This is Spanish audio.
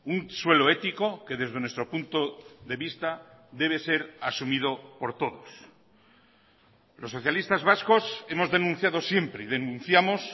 un suelo ético que desde nuestro punto de vista debe ser asumido por todos los socialistas vascos hemos denunciado siempre y denunciamos